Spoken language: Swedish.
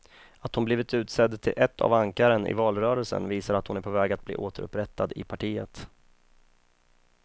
Att hon blivit utsedd till ett av ankaren i valrörelsen visar att hon är på väg att bli återupprättad i partiet.